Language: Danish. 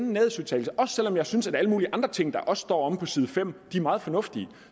om jeg også synes at alle mulige andre ting der også står på side fem er meget fornuftige